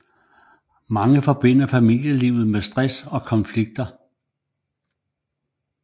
Mange forbinder familielivet med stress og konflikter